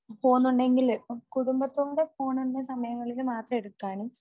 പോണുണ്ടെങ്കിൽ കുടുംബത്തോടെ പോണ സമയങ്ങളിൽ മാത്രം എടുക്കാനും